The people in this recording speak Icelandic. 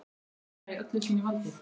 Hekla í öllu sínu valdi!